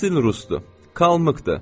Əsl rusdur, Kalmıkdır.